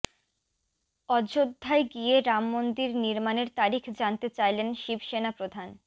অযোধ্যায় গিয়ে রামমন্দির নির্মাণের তারিখ জানতে চাইলেন শিবসেনা প্রধান